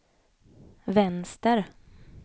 vänster